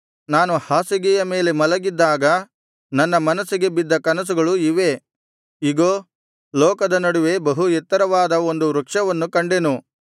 ನಾನು ಹಾಸಿಗೆಯ ಮೇಲೆ ಮಲಗಿದ್ದಾಗ ನನ್ನ ಮನಸ್ಸಿಗೆ ಬಿದ್ದ ಕನಸುಗಳು ಇವೇ ಇಗೋ ಲೋಕದ ನಡುವೆ ಬಹು ಎತ್ತರವಾದ ಒಂದು ವೃಕ್ಷವನ್ನು ಕಂಡೆನು